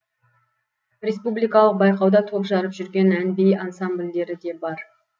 республикалық байқауда топ жарып жүрген ән би ансамбльдері де бар